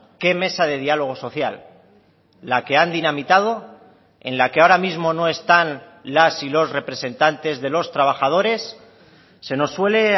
qué mesa de diálogo social la que han dinamitado en la que ahora mismo no están las y los representantes de los trabajadores se nos suele